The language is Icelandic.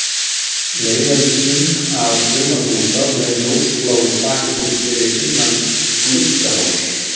LEIÐARLÝSING að sumarbústað með ljósbláu þaki, fyrir innan Gluggafoss.